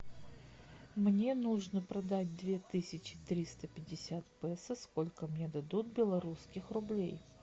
мне нужно продать две тысячи триста пятьдесят песо сколько мне дадут белорусских рублей